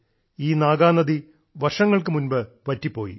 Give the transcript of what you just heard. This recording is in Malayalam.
ഈ നാഗാനദി വർഷങ്ങൾക്ക് മുൻപ് വറ്റിപ്പോയി